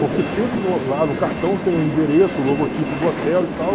Porque sempre no lá no cartão tem o endereço, o logotipo do hotel e tal.